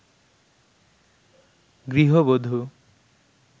গৃহবধু